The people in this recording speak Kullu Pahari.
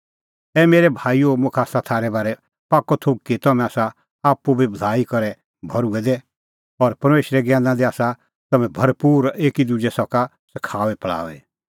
ए मेरै भाईओ मुखा आसा थारै बारै पाक्कअ थोघ कि तम्हैं आसा आप्पू बी भलाई करै भर्हुऐ दै और परमेशरे ज्ञैना दी आसा तम्हैं भरपूर और एकी दुजै सका सखाऊई फल़ाऊई